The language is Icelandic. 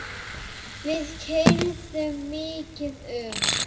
Við keyrðum mikið um.